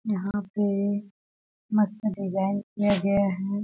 यहाँ पे मस्त डिजाईन किया गया है।